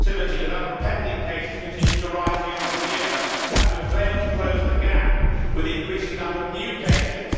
in productivity the number of pending cases continues to rise year on year, as we have failed to close the gap with the increasing number of new cases.